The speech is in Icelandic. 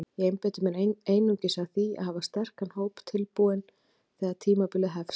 Ég einbeiti mér einungis að því að hafa sterkan hóp tilbúinn þegar tímabilið hefst.